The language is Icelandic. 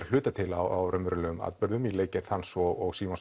að hluta til á raunverulegum atburðum í leikgerð hans og